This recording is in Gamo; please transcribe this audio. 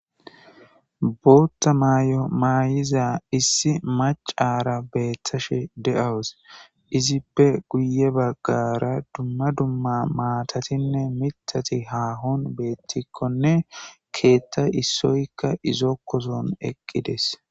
bootta maay7o maayiza issi mac aara beettashe de7awus izippe guye baggara dumma dumma maatatinne mitati haahon beettikkonne keetta issoykka izokkoson eqqides